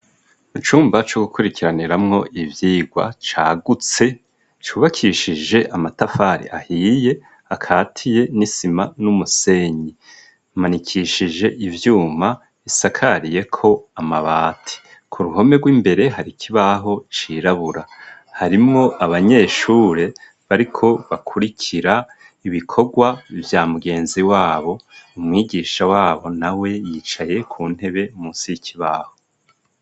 Mu cumba co gukurikiraniramwo ivyigwa cagutse cubakishije amatafari ahiye akatiye n'isima n'umusenyi amanikishije ivyuma isakariyeko amabati ku ruhome rw'imbere hari ikibaho cirabura harimwo abanyeshuri bariko bakurikira ibikorwa vya mugenzi wabo umwigisha wabo na we yicaye ku ntebe mu nsiki babo.